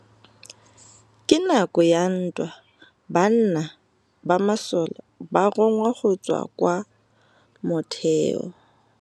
Ka nakô ya dintwa banna ba masole ba rongwa go tswa kwa mothêô.